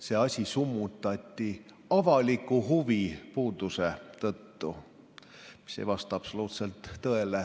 See asi summutati avaliku huvi puudumise tõttu, ent see ei vasta absoluutselt tõele.